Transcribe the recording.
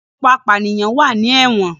Ọ̀pọ̀lọpọ̀ apànìyàn ló wà ní ẹ̀wọ̀n